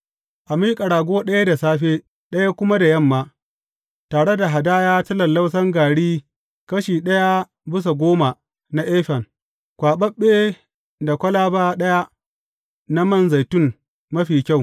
A miƙa rago ɗaya da safe, ɗaya kuma da yamma, tare da hadaya ta lallausan gari kashi ɗaya bisa goma na efan, kwaɓaɓɓe da kwalaba ɗaya na man zaitun mafi kyau.